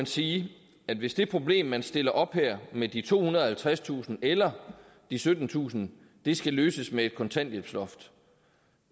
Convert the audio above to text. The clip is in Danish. sige at hvis det problem man stiller op her med de tohundrede og halvtredstusind eller de syttentusind skal løses med et kontanthjælpsloft